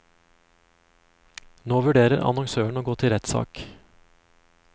Nå vurderer annonsøren å gå til rettssak.